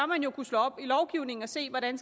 man jo kunne slå op i lovgivningen og se hvordan